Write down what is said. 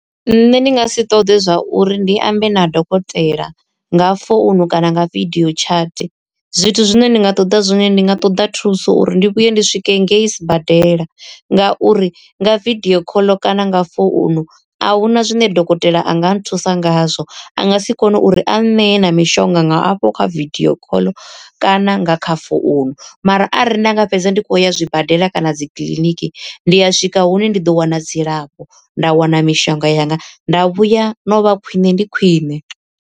Nṋe ndi nga si ṱoḓe zwa uri ndi ambe na dokotela nga founu kana nga vidio chat, zwithu zwine ndi nga ṱoḓa zwone ndi nga ṱoḓa thuso uri ndi vhuye ndi swike ngei sibadela. Ngauri nga vidio khoḽo kana nga founu ahuna zwine dokotela a nga nthusa ngazwo a nga si kone uri a nṋee na mishonga nga afho kha vidio call kana nga kha founu, mara arali nda nga fhedza ndi khou ya zwibadela kana dzi kiliniki ndi a swika hune ndi ḓo wana dzilafho nda wana mishonga yanga nda vhuya na u vha khwine ndi khwine.